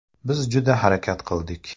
Biz juda harakat qildik.